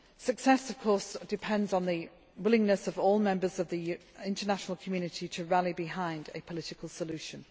supplied. Success, of course, depends on the willingness of all members of the international community to rally behind a political